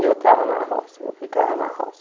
Eu estava na roça, eu ficava na roça.